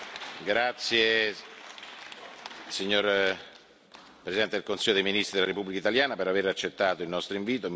Grazie signor Presidente del Consiglio dei Ministri della Repubblica italiana per aver accettato il nostro invito.